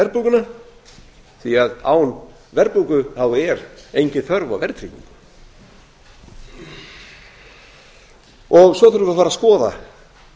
verðbólguna því án verðbólgu er engin þörf á verðtryggingu svo þurfum við að fara að skoða